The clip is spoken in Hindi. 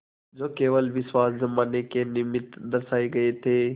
जो केवल विश्वास जमाने के निमित्त दर्शाये गये थे